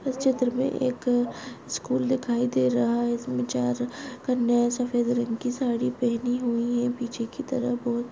इस चित्र में एक स्कूल दिखाई दे रहा हैं इसमें चार कन्याये सफ़ेद रंग की साड़ी पहनी हुई हैं पीछे की तरफ बहुत--